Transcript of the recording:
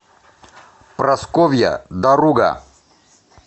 прасковья даруга